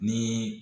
Ni